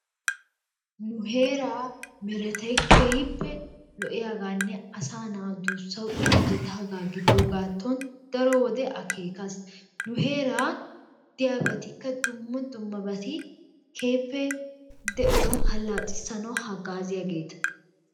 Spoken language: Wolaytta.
Nu heeraa meretay keehiippe lo'iyaagaanne asaa naa duussawu injjetaagaa gidoogaato daro wode akeekas. Nu heeraa diyabattikka dumma dummabatti keehiippe de'uwaa halaccisanawu hagaaziyaageta.